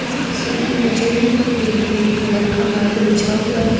इस तस्वीर में जमीन पर एक ग्रीन कलर का मैट बिछा हुआ है